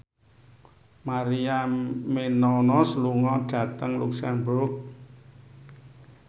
Maria Menounos lunga dhateng luxemburg